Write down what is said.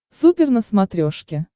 супер на смотрешке